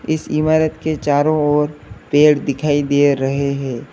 इस इमारत के चारों ओर पेड़ दिखाई दे रहे हैं।